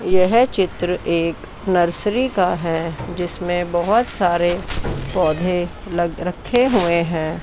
यह चित्र एक नर्सरी का है जिसमें बहुत सारे पौधे लग रखे हुए हैं।